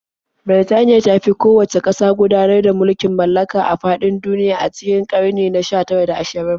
Birtaniya ta fi kowacce ƙasa gudanar da mulkin mallaka a faɗin duniya a cikin ƙarni na 19 da 20.